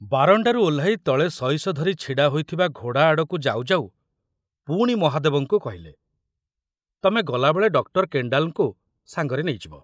ବାରଣ୍ଡାରୁ ଓହ୍ଲାଇ ତଳେ ସଇସ ଧରି ଛିଡ଼ା ହୋଇଥିବା ଘୋଡ଼ା ଆଡ଼କୁ ଯାଉ ଯାଉ ପୁଣି ମହାଦେବଙ୍କୁ କହିଲେ, ତମେ ଗଲାବେଳେ ଡକ୍ଟର କେଣ୍ଡାଲଙ୍କୁ ସାଙ୍ଗରେ ନେଇଯିବ।